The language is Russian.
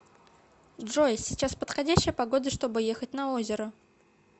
джой сейчас подходящая погода чтобы ехать на озеро